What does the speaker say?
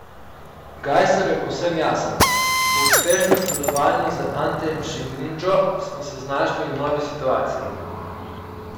Gajser je povsem jasen: 'Po uspešnem sodelovanju z Antejem Šimundžo smo se znašli v novi situaciji.